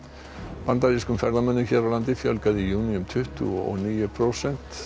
bandarískum ferðamönnum hér á landi fjölgaði í júní um tuttugu og níu prósent